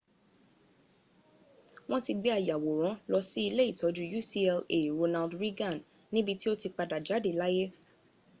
wọ́n ti gbé ayàwòrán lọ sí ilé ìtọ́jú ucla ronald reagan níbi tí ó ti padà jáde láyé